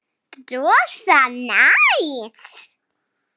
Rosa næs.